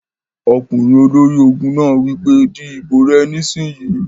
Ọkùnrin ológun náà wí pé "di ìbò rẹ nísìínyi!"